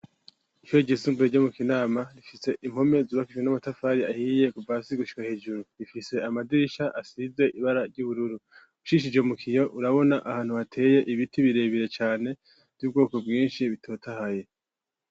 Ishure ryisumbuye mu kinama rifitse impome zubakise n'amatafari ahiye kuva hasi gushika hejuru rifise amadirisha asize ibara ry'ubururu ucishije mu kiyo urabona ahantu hateye ibiti birebire cane vy'ubwoko bwinshi bitotahaye.